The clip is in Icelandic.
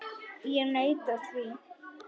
Ég neita því.